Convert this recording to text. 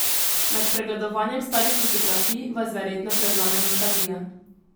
Med pregledovanjem starih fotografij vas verjetno prevzame nostalgija.